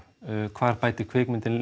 hvar bætir kvikmyndin